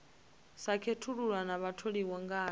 sa khethulula na vhatholiwa ngae